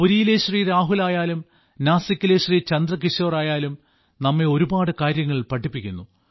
പുരിയിലെ ശ്രീ രാഹുൽ ആയാലും നാസിക്കിലെ ശ്രീ ചന്ദ്രകിശോർ ആയാലും നമ്മെ ഒരുപാട് കാര്യങ്ങൾ പഠിപ്പിക്കുന്നു